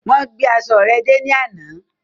Wón gbé aṣọ rẹ dé ní àna.